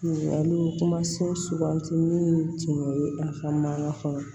Ɲininkaliw kuma se suganti minnu tun bɛ a ka mankan kɔnɔ